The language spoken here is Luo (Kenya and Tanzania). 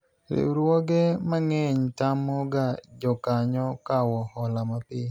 riwruoge mang'eny tamo ga jokanyo kawo hola mapiyo